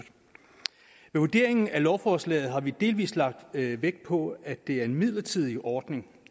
vurderingen af lovforslaget har vi delvis lagt vægt på at det er en midlertidig ordning